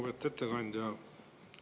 Lugupeetud ettekandja!